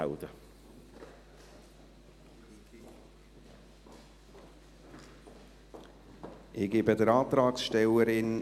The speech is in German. Es ist eine Gegenfinanzierung der Steuerausfälle aufzuzeigen, zumindest in den Jahren des AFP 2021–2023.